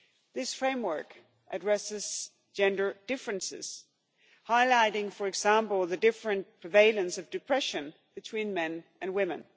This framework addresses gender differences, highlighting for example the different prevalence of depression between men and women.